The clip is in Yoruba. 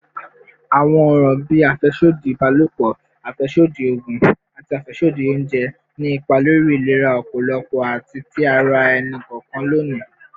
Awọn ọran bii afẹsodi ibalopọ, afẹsodi oogun, ati afẹsodi ounjẹ ni ipa lori ilera ọpọlọ ati ti ara ẹni kọọkan loni.